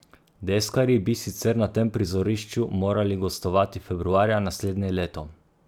Deskarji bi sicer na tem prizorišču morali gostovati februarja naslednje leto.